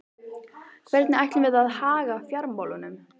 Hvernig ætlum við að haga fjármálunum?